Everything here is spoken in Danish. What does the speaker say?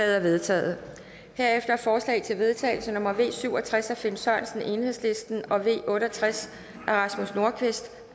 er vedtaget herefter forslag til vedtagelse nummer v syv og tres af finn sørensen og v otte og tres